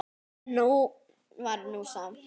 Nóg var nú samt.